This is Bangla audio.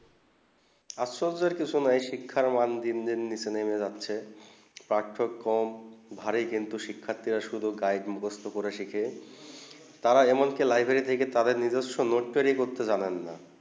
আসলে কইছে নেই এই শিক্ষা মান দিন দিন নিচে নেবে যাচ্ছে পাঠ্যক্রম ভারী কিন্তু শিখতে শুধু গাইড মুখস্ত করে শিখে তারা এমন যে তারা লাইব্রেরি থেকে নিজেকে নোট তৈরির করতে জানেন না